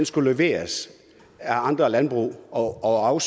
skulle leveres af andre landbrug og